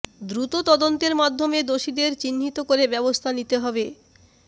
দ্রুত তদন্তের মাধ্যমে দোষীদের চিহ্নিত করে ব্যবস্থা নিতে হবে